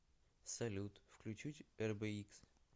салют включить эрбэикс